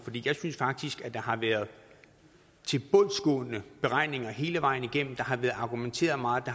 jeg synes faktisk at der har været tilbundsgående beregninger hele vejen igennem der har været argumenteret meget og